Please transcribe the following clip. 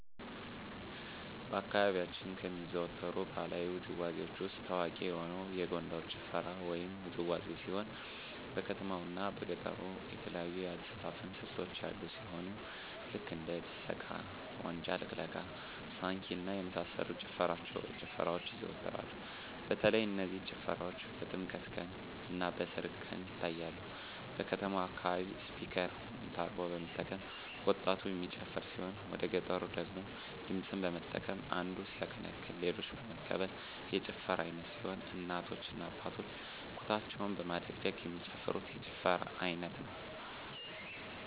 በአካባቢያችን ከሚዘወተሩ ባህለዊ ውዝዋዜዎች ውስጥ ታዋቂ የሆነ የጎንደር ጭፈራ ወይም ውዝዋዜ ሲሆን በከተማው እና በገጠሩ የተለያዩ የአዘፋፈን ስልቶች ያሉ ሲሆን ልክ እንደ ድሰቃ; ዋጫ ልቅለቃ; ሳንኪ እና የመሳሰሉት ጭፈራዎች ይዘዎተራሉ በተለይ እነዚህ ጭፈራዎች በጥምቀት ቀን; እና በሰርግ ቀን ይታያሉ። በከተማው አካባቢ ስፒከር (ሞንታርቦ) በመጠቀም ወጣቱ የሚጨፍር ሲሆን ወደገጠሩ ደግሞ ድምፅን በመጠቀም አንዱ ሲያቀነቅን ሌሎች በመቀበል የጭፈራ አይነት ሲሆን እናቶ እና አባቶች ኩታቸውን በማደግደግ የሚጨፍሩት የጭፈራ አይነት ነው።